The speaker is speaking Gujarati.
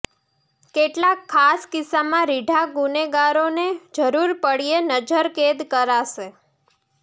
કેટલાંક ખાસ કિસ્સામાં રીઢા ગુનેગારોને જરૂર પડયે નજર કેદ કરાશે